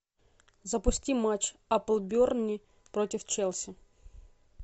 запусти матч апл бернли против челси